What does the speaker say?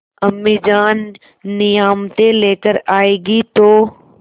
अम्मीजान नियामतें लेकर आएँगी तो